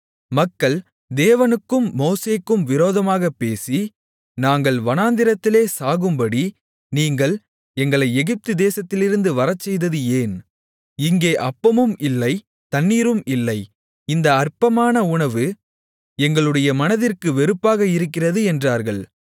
மக்கள் தேவனுக்கும் மோசேக்கும் விரோதமாகப் பேசி நாங்கள் வனாந்திரத்திலே சாகும்படி நீங்கள் எங்களை எகிப்து தேசத்திலிருந்து வரச்செய்தது ஏன் இங்கே அப்பமும் இல்லை தண்ணீரும் இல்லை இந்த அற்பமான உணவு எங்களுடைய மனதிற்கு வெறுப்பாக இருக்கிறது என்றார்கள்